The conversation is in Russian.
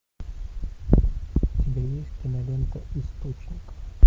у тебя есть кинолента источник